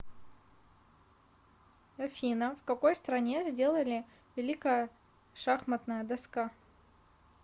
афина в какой стране сделали великая шахматная доска